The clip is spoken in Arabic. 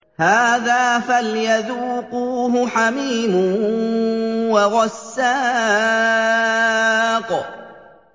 هَٰذَا فَلْيَذُوقُوهُ حَمِيمٌ وَغَسَّاقٌ